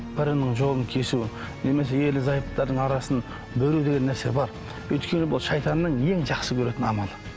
бірінің жолын кесу немесе ерлі зайыптардың арасын бөлу деген нәрсе бар өйткені бұл шайтанның ең жақсы көретін амалы